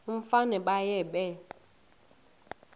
umfana baye bee